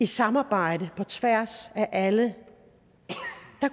samarbejde på tværs af alle